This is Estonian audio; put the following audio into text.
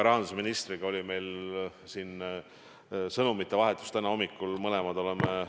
Rahandusministriga oli meil täna hommikul sõnumite vahetus.